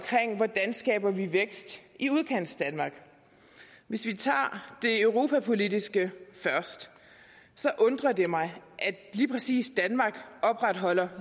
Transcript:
hvordan vi skaber vækst i udkantsdanmark hvis vi tager det europapolitiske først så undrer det mig at lige præcis danmark opretholder